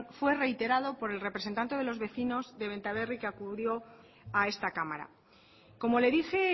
fue reiterado por el representante de los vecinos de benta berri que acudió a esta cámara como le dije